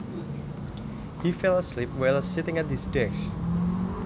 He fell asleep while sitting at his desk